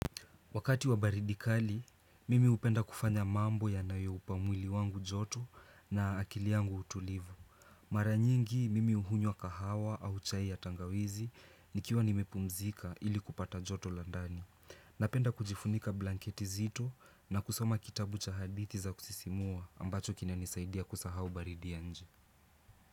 Wakati wa baridi kali, mimi hupenda kufanya mambo yanayoupa mwili wangu joto na akili yangu utulivu. Mara nyingi mimi uhunywa kahawa au chai ya tangawizi nikiwa nimepumzika ili kupata joto la ndani. Napenda kujifunika blanketi zito na kusoma kitabu cha hadithi za kusisimua ambacho kinanisaidia kusahau baridi ya nje.